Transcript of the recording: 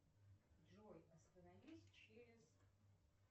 джой остановись через